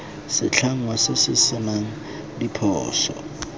setlhangwa se se senang diphoso